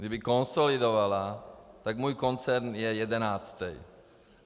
Kdyby konsolidovala, tak můj koncern je jedenáctý.